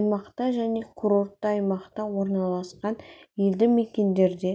аймақта және курортты аймақта орналасқан елді мекендерде